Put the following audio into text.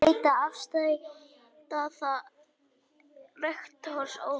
Breytt afstaða rektors óvænt